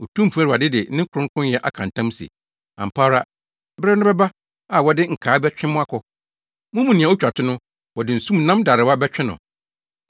Otumfo Awurade de ne kronkronyɛ aka ntam se, “Ampa ara bere no bɛba a wɔde nkaa bɛtwe mo akɔ; mo mu nea otwa to no, wɔde nsumnam darewa bɛtwe no.